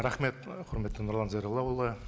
рахмет құрметті нұрлан зайроллаұлы